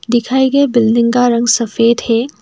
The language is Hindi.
दिखाए गए बिल्डिंग का रंग सफेद है।